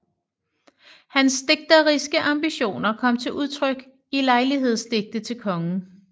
Hans digteriske ambitioner kom til udtryk i lejlighedsdigte til kongen